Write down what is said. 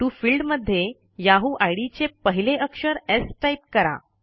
TO field मध्ये Yahoo ID चे पहिले अक्षर स् टाईप करा